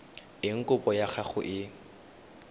eng kopo ya gago e